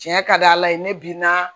Tiɲɛ ka di ala ye ne bi na